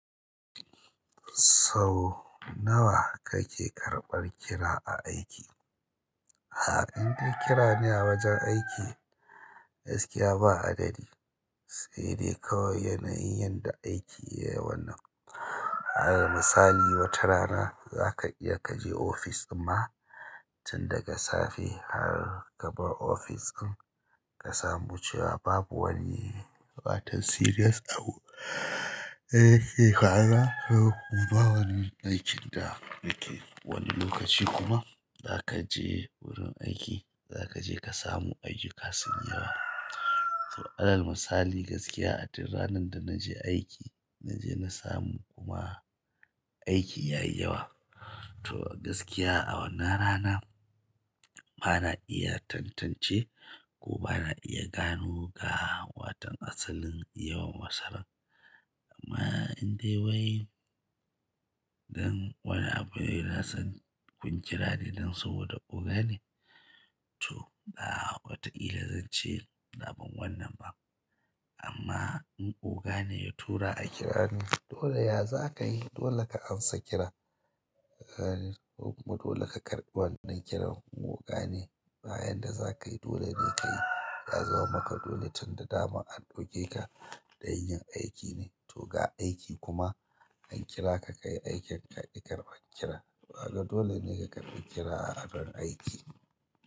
Sau nawa kake karɓar kira a aiki? A'a, in dai kira ne a wajen aiki gaskiya ba adadi, sai dai kawai yanayin yadda aiki yayi wannan. Alal misali wata rana za ka iya ka je ofis amma tun daga safe har gaba ofis in ka samu cewa babu wani watan serious abu, eh, ka ga, ho bawani aikin da nake. Wani lokaci kuma za ka je wurin aiki, za ka je ka samu ayyuka sun yi yawa. To alal misali gaskiya, a duk ranar da na je aiki, na je na samu kuma aiki yayi yawa. To gaskiya a wannan rana ba na iya tantance ko ba na iya gano ga watan asalin yawan masalan. Amma in dai wai don wani abu yayi na sani kun kira ni don saboda oga ne, to a wataƙila zan ce na ban wannan ba. Amma in oga ne ya tura a kira ni, dole ya za ka yi, dole ka amsa kira. Ko, kuma dole ka karɓi wannan kiran oga ne. Bayan da za ka yi dole ne ka yi, ya zama maka dole tun da dama an ɗauke ka dan yin aiki ne. To ga aiki kuma an kira ka ka yi aikin ka ƙa karɓan kiran. Ka ga dole ne ka karɓi kira a wurin aiki.